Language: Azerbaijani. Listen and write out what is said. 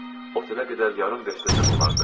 Otelə qədər yarım verstəcən olardı.